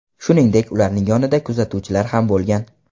Shuningdek, ularning yonida kuzatuvchilar ham bo‘lgan.